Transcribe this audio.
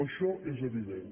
això és evident